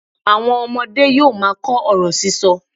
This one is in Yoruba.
Àwọn ọmọdé yóò máa kọ ọ̀rọ̀ sísọ.